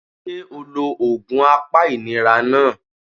Sé o lo òògùn apa ìnira náà